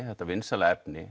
þetta vinsæla efni